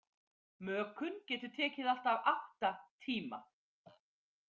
Mökun getur tekið allt að átta tíma.